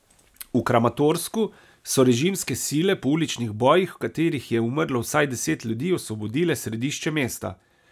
V Kramatorsku so režimske sile po uličnih bojih, v katerih je umrlo vsaj deset ljudi, osvobodile središče mesta.